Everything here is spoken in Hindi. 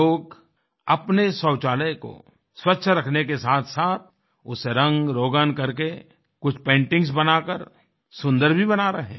लोग अपने शौचालय को स्वच्छ रखने के साथसाथ उसे रंगरौगन करके कुछ पेंटिंग्स बना कर सुन्दर भी बना रहे है